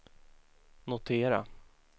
notera